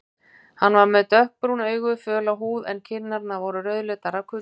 Hann var með dökkbrún augu, föla húð en kinnarnar voru rauðleitar af kulda.